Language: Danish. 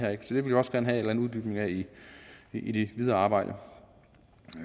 vil vi også gerne have en uddybning af i i det videre arbejde